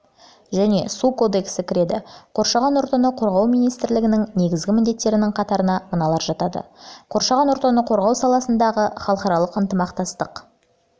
және су кодексі кіреді қоршаған ортаны қорғау министрлігінің негізгі міндеттерінің қатарына мыналар жатады қоршаған ортаны қорғау саласындағы халықаралық ынтымақтастықты